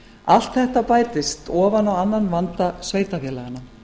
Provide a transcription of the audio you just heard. allt þetta bætist ofan á annan vanda sveitarfélaganna